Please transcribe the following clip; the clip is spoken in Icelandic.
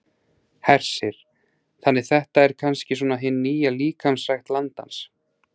Hersir: Þannig þetta er kannski svona hin nýja líkamsrækt landans?